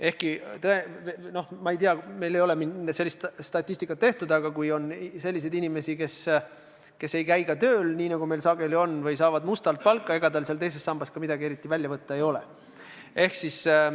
Ehkki, no ma ei tea, meil ei ole sellist statistikat tehtud, on ka selliseid inimesi, kes ei käi tööl, nii nagu meil sageli on, või kes saavad palka mustalt – ega neil sealt teisest sambast midagi eriti välja võtta olegi.